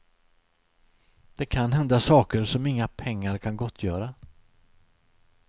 Det kan hända saker som inga pengar kan gottgöra.